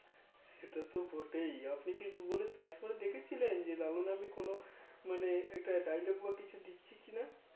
সেটা তো বটেই আপনি কি Google এ Search করে দেখেছিলেন যে লালু নামে কোনো মানে একটা Dialogue বা কিছু দিচ্ছে কি না